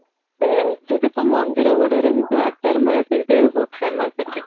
ସେଆ ସେଠି ତ ମନ୍ଦିର ଗୁଡା ରେ ଯଉ ଆଚାର ମିଳେ ସେଇଟା ବି ବହୁତ famous ସେଠି